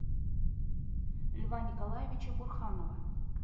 льва николаевича бурханова